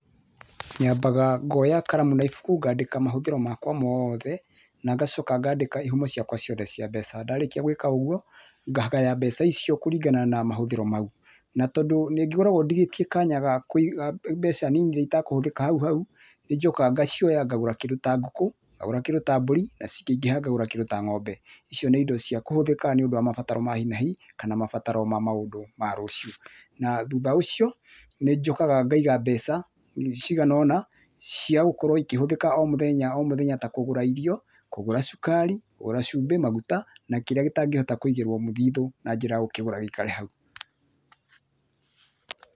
Nyambaga ngoya karamu na ibuku, ngaandĩka mahũthĩro makwa mothe, na ngacoka ngaandĩka ihumo ciakwa ciothe cia mbeca. Ndarĩkia gwĩka ũguo, ngagaya mbeca icio kũringana na mahũthĩro mau. Na tondũ nĩngĩkoragwo ndĩgĩtie kanya ka, ga kũiga mbeca nini iria itakũhũthĩka hau hau, nĩ njũkaga ngacioya ngagũra kĩndũ ta ngũkũ, ngagũra kĩndũ ta mbũri, na cingĩingĩha ngagũra kĩndũ ta ngo'mbe. Icio nĩ indo cia kũhũthĩka nĩũndũ wa mabataro ma hi na hi kana mabataro ma maundũ ma rũciũ. Na thutha ũcio, nĩ njũkaga ngaiga mbeca ciiganona cia gũkorwo ikĩhũthĩka o mũthenya o mũthenya ta kũgũra irio, kũgũra cukari, kũgũra cũmbĩ, maguta na kĩrĩa kĩtangĩhota kũigĩrwo mũthithũ, na njĩra ya gũkĩgũra gĩikare hau.